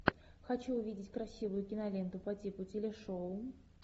хочу увидеть красивую киноленту по типу телешоу